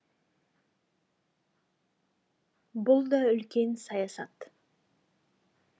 бұл да үлкен саясат